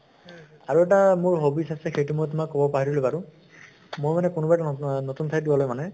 আৰু এটা মোৰ hobbies আছে সেইটো মই তোমাক কʼব পাহৰিলো বাৰু । মই মানে কোনোবা এটা নতুন অহ নতুন ঠাইত গʼলে মানে